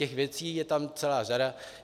Těch věcí je tam celá řada.